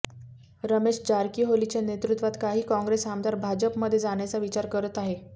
रमेश जारकीहोलीच्या नेतृत्वात काही काँग्रेस आमदार भाजपमध्ये जाण्याचा विचार करत आहेत